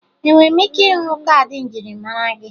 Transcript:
Enwere m ike ịhụ kaadị njirimara gị?